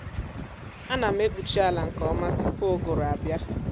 ánà m ekpuchị àlà nkè ọma tụpụ ụgụrụ abịa